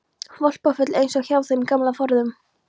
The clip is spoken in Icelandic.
Hvolpafull, eins og hjá þeim gamla forðum.